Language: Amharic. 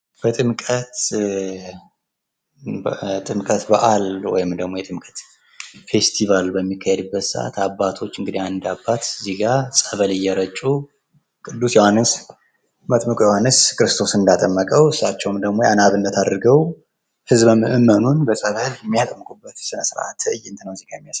የጥምቀት በዓል ወይም ደግሞ የጥምቀት ፌስቲባል በሚካሄድበት ሰዓት እንግዲህ አንድ አባት ፀበል እየረጩ ቅዱስ ዮሐንስን መጥምቁ ዮሐንስ ክርስቶስን እንዳጠመቀዉ እሳቸዉም ያንን አብነት አድርገዉ ህዝበ ምዕመኑን ሲያጠምቁ የሚያሳይ ትርኢት ነዉ እዚህ ጋ የሚያሳየዉ።